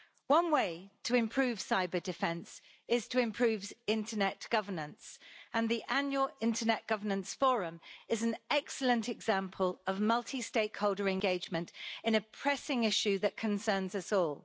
One way to improve cyber-defence is to improve internet governance, and the annual Internet Governance Forum is an excellent example of multi-stakeholder engagement in a pressing issue that concerns us all.